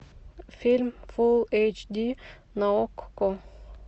фильм фулл эйч ди на окко